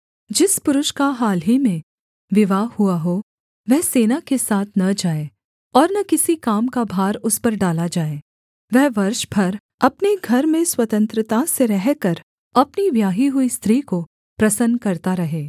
जिस पुरुष का हाल ही में विवाह हुआ हो वह सेना के साथ न जाए और न किसी काम का भार उस पर डाला जाए वह वर्ष भर अपने घर में स्वतंत्रता से रहकर अपनी ब्याही हुई स्त्री को प्रसन्न करता रहे